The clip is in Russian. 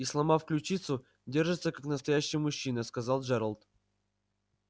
и сломав ключицу держится как настоящий мужчина сказал джералд